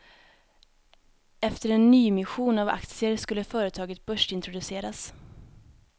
Efter en nyemission av aktier skulle företaget börsintroduceras.